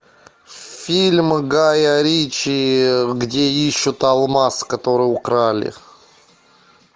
фильм гая ричи где ищут алмаз который украли